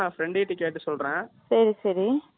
அன்னைக்கு நாங்க போய் இருந்தோம் ஆ அது வந்து